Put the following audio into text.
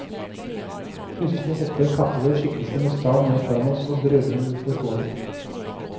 Plutselig hopper en kappekledd skikkelse med stav ned foran oss og brøler noe uforståelig.